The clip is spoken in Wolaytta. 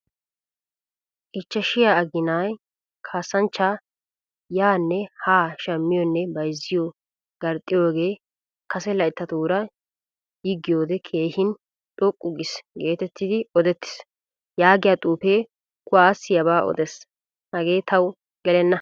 Ichchashshiyaa agina kasanchcha yaane haa shammiyone bayzziyo garxxiyoge kase layttatura yigiyode keehin xoqqu giis geetettidi odettiis yaagiyaa xuufe kuwasiyaba odees. Hage tawu gelenna.